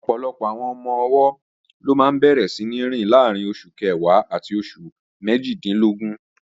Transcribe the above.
Ọ̀pọ̀lọpọ̀ àwọn ọmọ-ọwọ́ ló máa bẹ̀rẹ̀ síní rìn láàrín oṣù kẹwàá àti oṣù méjìdínlógún